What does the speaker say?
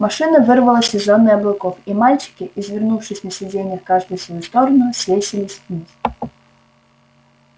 машина вырвалась из зоны облаков и мальчики извернувшись на сиденьях каждый в свою сторону свесились вниз